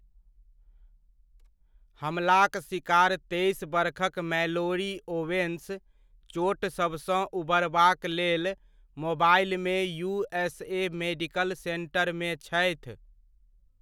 हमलाक सिकार तेइस बरखक मैलोरी ओवेन्स चोटसभसँ उबरबाक लेल मोबाइलमे यूएसए मेडिकल सेन्टरमे छथि।